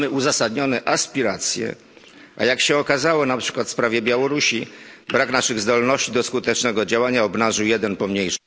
Mamy uzasadnione aspiracje, a jak się okazało na przykład w sprawie Białorusi brak naszych zdolności do skutecznego działania obnażył jeden pomniejszy satrapa.